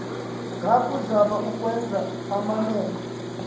ngakuzama ukwenza amamene